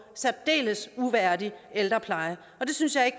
særdeles uværdig ældrepleje det synes jeg